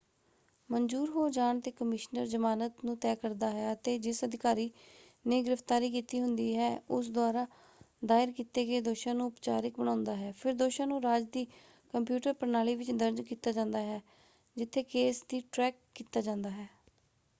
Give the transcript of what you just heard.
ਮਨਜੂਰ ਹੋ ਜਾਣ ‘ਤੇ ਕਮਿਸ਼ਨਰ ਜਮਾਨਤ ਨੂੰ ਤੈਅ ਕਰਦਾ ਹੈ ਅਤੇ ਜਿਸ ਅਧਿਕਾਰੀ ਨੇ ਗ੍ਰਿਫਤਾਰੀ ਕੀਤੀ ਹੁੰਦੀ ਹੈ ਉਸ ਦੁਆਰਾ ਦਾਇਰ ਕੀਤੇ ਗਏ ਦੋਸ਼ਾਂ ਨੂੰ ਉਪਚਾਰਿਕ ਬਣਾਉਂਦਾ ਹੈ। ਫਿਰ ਦੋਸ਼ਾਂ ਨੂੰ ਰਾਜ ਦੀ ਕੰਪਿਊਟਰ ਪ੍ਰਣਾਲੀ ਵਿੱਚ ਦਰਜ ਕੀਤਾ ਜਾਂਦਾ ਹੈ ਜਿੱਥੇ ਕੇਸ ਦੀ ਟ੍ਰੈਕ ਕੀਤਾ ਜਾਂਦਾ ਹੈ।